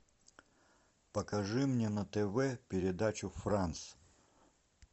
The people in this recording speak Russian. покажи мне на тв передачу франс